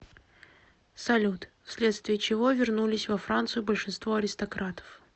салют вследствие чего вернулись во францию большинство аристократов